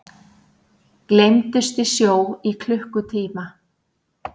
Gleymdust í sjó í klukkutíma